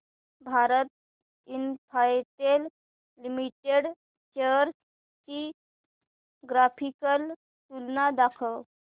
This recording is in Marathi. भारती इन्फ्राटेल लिमिटेड शेअर्स ची ग्राफिकल तुलना दाखव